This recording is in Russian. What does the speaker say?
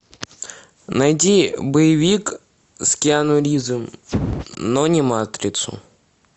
найди боевик с киану ривзом но не матрицу